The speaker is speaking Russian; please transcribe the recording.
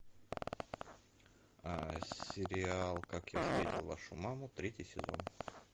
сериал как я встретил вашу маму третий сезон